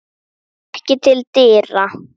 Fer ekki til dyra.